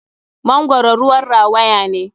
Mangoro ruwan rawaya ne.